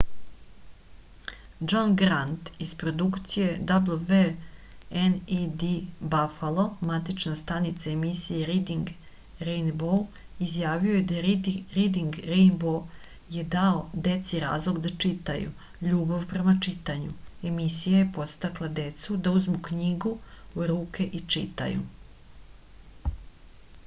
џон грант из продукције wned бафало матична станица емисије ридинг рејнбоу изјавио је: ридинг рејнбоу је дао деци разлог да читају ... љубав према читању - [емисија] је подстакла децу да узму књигу у руке и читају.